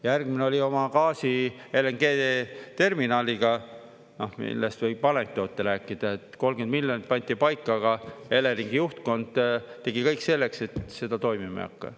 Järgmine oli oma gaasi, LNG-terminaliga, millest võib anekdoote rääkida, et 30 miljonit pandi paika, aga Eleringi juhtkond tegi kõik selleks, et seda toimima ei hakka.